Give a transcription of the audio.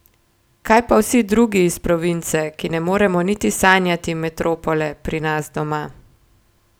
Kaj pa vsi drugi iz province, ki ne moremo niti sanjati metropole pri nas doma?